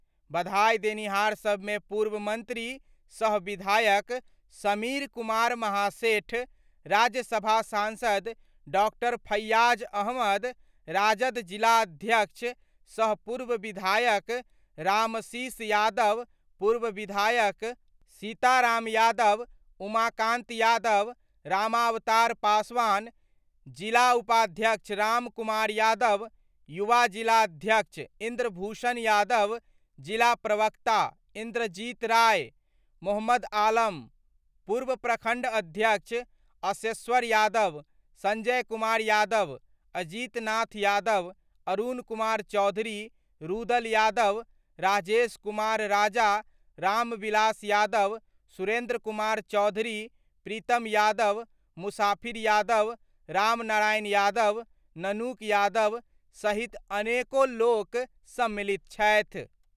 बधाइ देनिहार सभ मे पूर्व मंत्री सह विधायक समीर कुमार महासेठ, राज्य सभा सांसद डॉ. फैयाज अहमद, राजद जिला अध्यक्ष सह पूर्व विधायक रामाशीष यादव, पूर्व विधायक सीता राम यादव, उमाकांत यादव, रामावतार पासवान, जिला उपाध्यक्ष राम कुमार यादव, युवा जिलाध्यक्ष इंद्रभूषण यादव, जिला प्रवक्ता इंद्रजीत राय, मो. आलम, पूर्व प्रखंड अध्यक्ष अशेश्वर यादव, संजय कुमार यादव, अजीतनाथ यादव, अरुण कुमार चौधरी, रुदल यादव, राजेश कुमार राजा, रामविलास यादव, सुरेंद्र कुमार चौधरी, प्रीतम यादव मुसाफिर यादव, रामनारायण यादव, ननकू यादव सहित अनेको लोक सम्मिलित छथि।